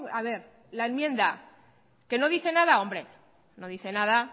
a ver la enmienda que no dice nada hombre no dice nada